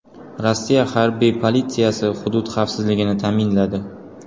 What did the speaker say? Rossiya harbiy politsiyasi hudud xavfsizligini ta’minladi.